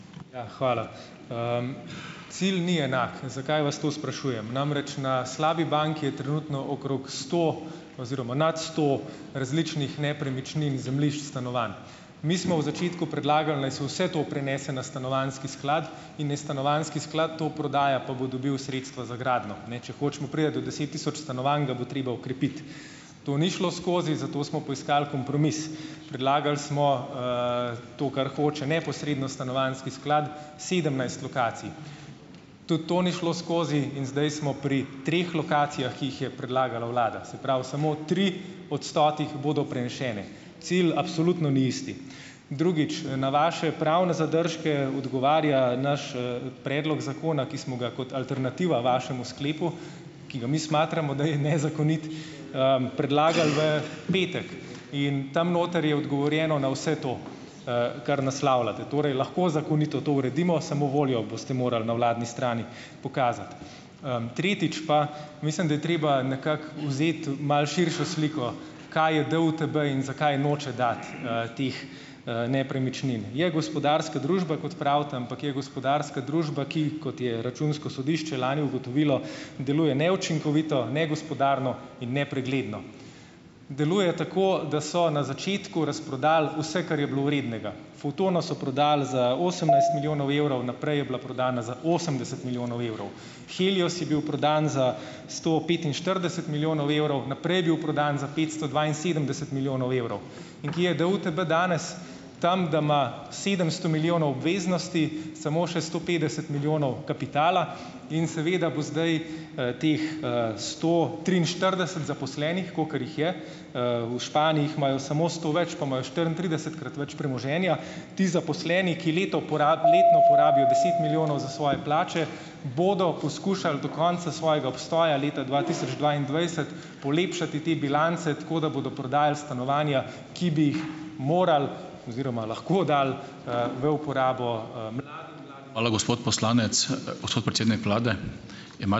Ja, hvala. Cilj ni enak. Zakaj vas to sprašujem? Namreč, na slabi banki je trenutno okrog sto oziroma nad sto različnih nepremičnin, zemljišč, stanovanj. Mi smo v začetku predlagali, naj se vse to prenese na stanovanjski sklad in naj stanovanjski sklad to prodaja, pa bo dobil sredstva za gradnjo, ne. Če hočemo priti do deset tisoč stanovanj, ga bo treba okrepiti. To ni šlo skozi, zato smo poiskali kompromis, predlagali smo, to, kar hoče neposredno stanovanjski sklad, sedemnajst lokacij. Tudi to ni šlo skozi in zdaj smo pri treh lokacijah, ki jih je predlagala vlada. Se pravi, samo tri od stotih bodo prenesene. Cilj absolutno ni isti. Drugič, na vaše pravne zadržke odgovarja naš, predlog zakona, ki smo ga kot alternativa vašemu sklepu, ki ga mi smatramo, da je nezakonit, predlagali v petek in tam noter je odgovorjeno na vse to, kar naslavljate, torej, lahko zakonito to uredimo, samo voljo boste morali na vladni strani pokazati. tretjič pa, mislim, da je treba nekako vzeti malo širšo sliko, kaj je DUTB in zakaj noče dati, teh, nepremičnin. Je gospodarska družba, kot pravite, ampak je gospodarska družba, ki, kot je računsko sodišče lani ugotovilo, deluje neučinkovito, negospodarno in nepregledno. Deluje tako, da so na začetku razprodali vse, kar je bilo vrednega. Fotono so prodali za osemnajst milijonov evrov, naprej je bila prodana za osemdeset milijonov evrov, Helios je bil prodan za sto petinštirideset milijonov evrov, naprej je bil prodan za petsto dvainsedemdeset milijonov evrov. In kje je DUTB danes? Tam, da ima sedemsto milijonov obveznosti, samo še sto petdeset milijonov kapitala in seveda bo zdaj, teh, sto triinštirideset zaposlenih, kolikor jih je, v Španiji jih imajo samo sto več, pa imajo štiriintridesetkrat več premoženja, ti zaposleni, ki leto letno porabijo deset milijonov za svoje plače, bodo poskušali do konca svojega obstoja, leta dva tisoč dvaindvajset, polepšati te bilance, tako da bodo prodajali stanovanja, ki bi jih morali oziroma lahko dali, v uporabo,